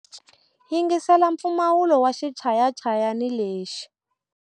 Yingisela mpfumawulo wa xichayachayani lexi.